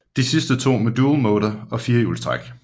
De sidste to med Dual Motor og firehjulstræk